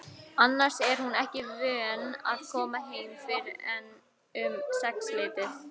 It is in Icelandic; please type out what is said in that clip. Annars er hún ekki vön að koma heim fyrr en um sexleytið.